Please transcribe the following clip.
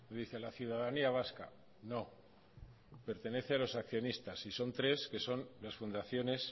dice a la ciudadanía vasca no pertenece a los accionistas y son tres que son las fundaciones